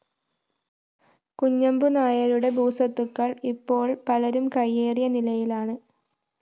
കുഞ്ഞമ്പുനായരുടെ ഭൂസ്വത്തുക്കള്‍ ഇപ്പോള്‍ പലരും കയ്യേറിയ നിലയിലാണ്